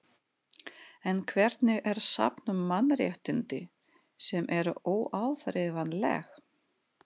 En hvernig er safn um mannréttindi, sem eru óáþreifanleg?